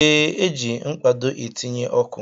Ee, e ji mkpado etinye ọkụ